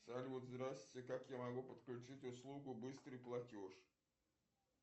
салют здравствуйте как я могу подключить услугу быстрый платеж